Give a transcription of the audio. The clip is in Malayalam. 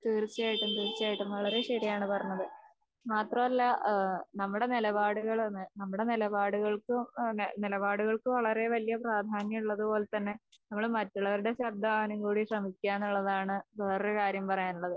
തീർച്ചയായിട്ടും തീർച്ചയായിട്ടും. വളരേ ശെരിയാണ് പറഞ്ഞത്. മാത്രമല്ല ഏഹ് നമ്മുടെ നിലപാടുകളാണ് നമ്മുടെ നിലപാടുകൾക്ക്, നിലപാടുകൾക്ക് വളരേ വല്യ പ്രാധാന്യം ഉള്ളതുപോലെതന്നെ നമ്മള് മറ്റുള്ളവരുടെ ശബ്ദം ആവാനുംകൂടെ ശ്രമിക്ക്യാന്നുള്ളതാണ് വേറൊരു കാര്യം പറയാനുള്ളത്.